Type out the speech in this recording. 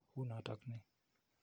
U notok ii?